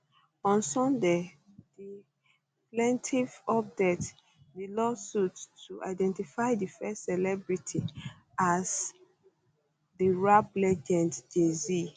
on sunday di plaintiff update di lawsuit to identity di first celebrity as di rap legend jayz